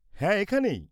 হ্যাঁ, এখানেই।